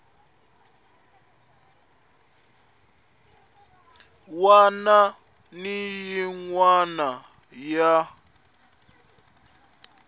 wana ni yin wana ya